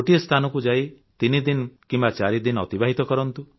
ଗୋଟିଏ ସ୍ଥାନକୁ ଯାଇ ତିନିଦିନ କିମ୍ବା ଚାରିଦିନ ଅତିବାହିତ କରନ୍ତୁ